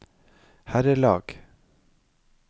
herrelag